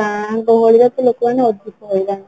ଗାଁ ଗହଳିର ଲୋକ ମାନେ ତ ଅଧିକ ହଇରାଣ